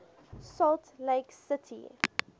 salt lake city